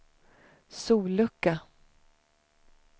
sollucka